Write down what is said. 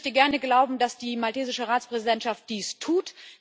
Ich möchte gerne glauben, dass die maltesische Ratspräsidentschaft dies tut.